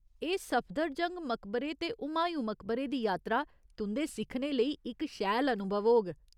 एह् सफदरजंग मकबरे ते हुमायूं मकबरे दी यात्रा तुं'दे सिक्खने लेई इक शैल अनुभव होग।